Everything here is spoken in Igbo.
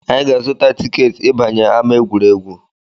Anyị ga-azụta tiketi ịbanye ama egwuregwu